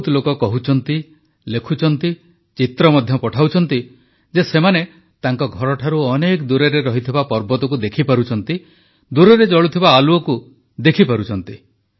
ବହୁତ ଲୋକ କହୁଛନ୍ତି ଲେଖୁଛନ୍ତି ଚିତ୍ର ମଧ୍ୟ ପଠାଉଛନ୍ତି ଯେ ସେମାନେ ତାଙ୍କ ଘରଠାରୁ ଅନେକ ଦୂରରେ ଥିବା ପର୍ବତକୁ ଦେଖିପାରୁଛନ୍ତି ଦୂରରେ ଜଳୁଥିବା ଆଲୁଅ ଦେଖିପାରୁଛନ୍ତି